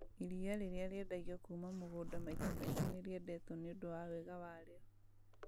Iria rĩrĩa rĩendagio kuma mũgũnda maita maingĩ nĩ rĩendetwo nĩũndũ wa wega warĩo